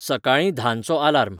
सकाळींं धांचो आलार्म